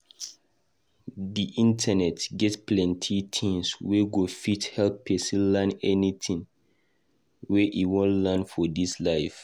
Di internet get plenty things wey go fit help pesin learn anything wey e wan learn for dis life.